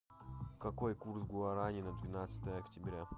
какой курс гуарани на двенадцатое октября